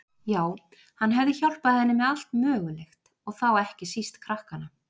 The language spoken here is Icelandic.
Já, hann hefði hjálpað henni með allt mögulegt, og þá ekki síst krakkana.